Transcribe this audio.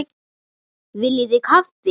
Viljið þið kaffi?